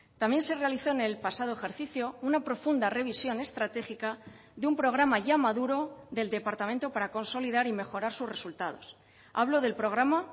también se realizó en el pasado ejercicio una profunda revisión estratégica de un programa ya maduro del departamento para consolidar y mejorar sus resultados hablo del programa